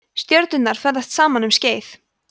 stjörnurnar ferðast saman um skeið